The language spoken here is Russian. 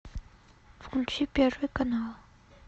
включи первый канал